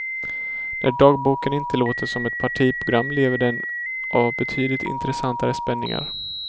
När dagboken inte låter som ett partiprogram lever den av betydligt intressantare spänningar.